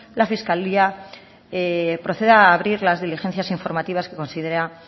la fiscalía proceda a abrir las diligencias informativas que considera